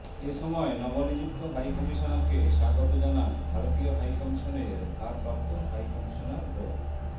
এ সময় নবনিযুক্ত হাইকমিশনারকে স্বাগত জানান ভারতীয় হাইকমিশনের ভারপ্রাপ্ত হাইকমিশনার ড